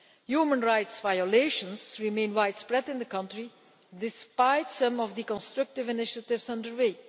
Human rights violations remain widespread in the country, despite some of the constructive initiatives underway.